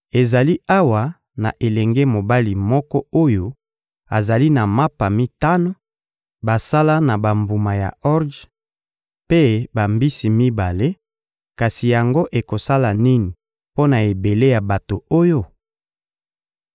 — Ezali awa na elenge mobali moko oyo azali na mapa mitano basala na bambuma ya orje, mpe bambisi mibale; kasi yango ekosala nini mpo na ebele ya bato oyo?